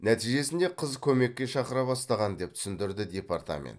нәтижесінде қыз көмекке шақыра бастаған деп түсіндірді департамент